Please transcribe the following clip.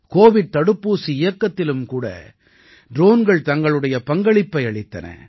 Covid தடுப்பூசி இயக்கத்திலும் கூட ட்ரோன்கள் தங்களுடைய பங்களிப்பை அளித்தன